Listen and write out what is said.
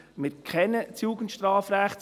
Wir kennen das Jugendstrafrecht.